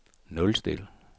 nulstil